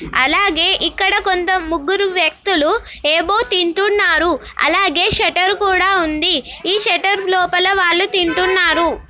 అలాగే ఇక్కడ కొంత ముగ్గురు వ్యక్తులు ఏవో తింటున్నారు. అలాగే షట్టర్ కూడా ఉంది. ఈ షట్టర్ లోపల వాళ్ళు తింటున్నారు.